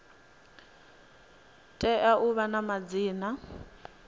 tea u vha na madzina